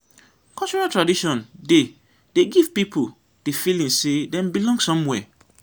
cultural traditon dey dey give pipo di feeling sey dem belong somewhere